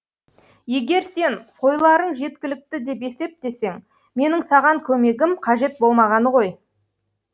егер сен қойларың жеткілікті деп есептесең менің саған көмегім қажет болмағаны ғой